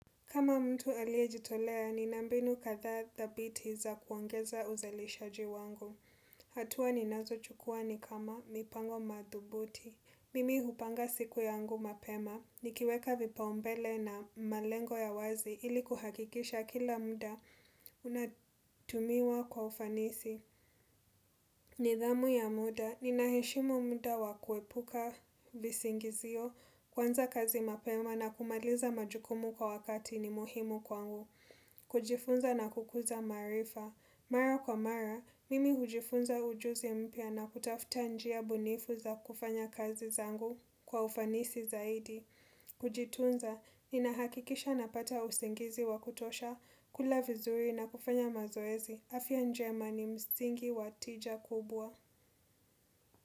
Kama mtu aliyejitolea, nina mbinu kadhaa thabiti za kuongeza uzalishaji wangu. Hatua ninazochukua ni kama mipango madhubuti. Mimi hupanga siku yangu mapema, nikiweka vipaombele na malengo ya wazi ili kuhakikisha kila muda unatumiwa kwa ufanisi. Nidhamu ya muda, ninaheshimu muda wakuepuka visingizio, kuanza kazi mapema na kumaliza majukumu kwa wakati ni muhimu kwangu. Kujifunza na kukuza marifa. Mara kwa mara, mimi hujifunza ujuzi mpya na kutafuta njia bunifu za kufanya kazi zangu kwa ufanisi zaidi. Kujitunza, ninahakikisha na pata usingizi wakutosha, kula vizuri na kufanya mazoezi. Afya njema ni msingi wa tija kubwa.